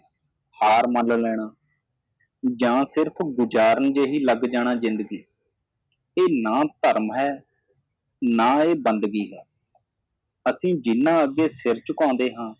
ਹਾਰ ਮਨ ਲੈਣਾ ਜਾਂ ਸਿਰਫ਼ ਗੁਜਾਰਨ ਜਿਹੀ ਲਗ ਜਾਣਾ ਜਿੰਦਗੀ ਇਹ ਨਾ ਧਰਮ ਹੈ ਨਾ ਇਹ ਬੰਦਗੀ ਹੈ ਅਸੀ ਜਿਹਨਾਂ ਅੱਗੇ ਸਿਰ ਝੁਕਾਉਂਦੇ ਹਾਂ